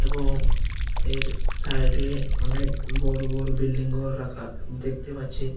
এবং এর সাইড -এ অনেক বড়ো বড়ো বিল্ডিং ঘর রাখা দেখতে পাচ্ছি।